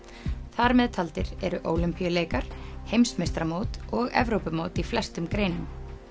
þar með taldir eru Ólympíuleikar heimsmeistaramót og Evrópumót í flestum greinum